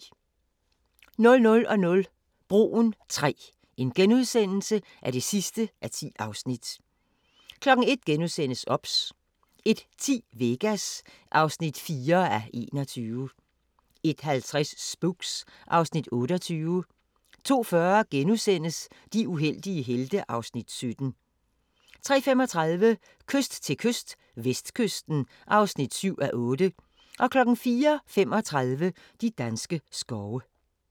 00:00: Broen III (10:10)* 01:00: OBS * 01:10: Vegas (4:21) 01:50: Spooks (Afs. 28) 02:40: De uheldige helte (Afs. 17)* 03:35: Kyst til kyst - vestkysten (7:8) 04:35: De danske skove